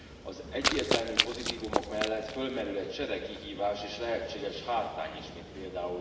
Az egyértelmű pozitívumok mellett fölmerül egy sereg kihívás és lehetséges hátrány is, mint pl.